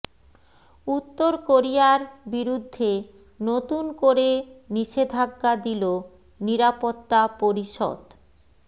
উত্তর কোরিয়ার বিরুদ্ধে নতুন করে নিষেধাজ্ঞা দিল নিরাপত্তা পরিষদ